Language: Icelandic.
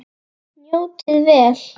Njótið vel.